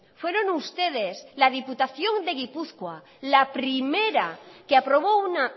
fueron ustedes la diputación de gipuzkoa la primera que aprobó una